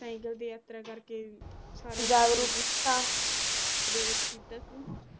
cycle ਦੀ ਯਾਰਤਾ ਕਰਕੇ ਸਾਰੇ ਨੂੰ ਜਾਗਰੂਕ ਕੀਤਾ ਪਰੇਰਿਤ ਕੀਤਾ ਸੀ